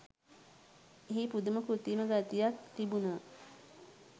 එහි පුදුම කෘතීම ගතියක් තිබුනා